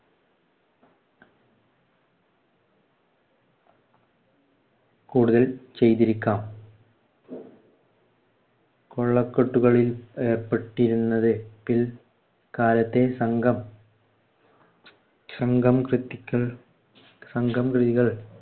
കൂടുതൽ ചെയ്‌തിരിക്കാം. കൊള്ളക്കെട്ടുകളിൽ ഏർപ്പെട്ടിരുന്നത് പിൽക്കാലത്തെ സംഘം സംഘം കൃതികള്‍ സംഘംകൃതികൾ